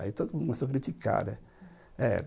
Aí todo mundo começou a criticar, né?